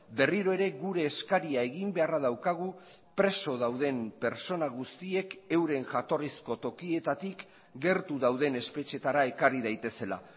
berriro ere gure eskaria egin beharra daukagu preso dauden pertsona guztiek euren jatorrizko tokietatik gertu dauden espetxeetara ekarri daitezela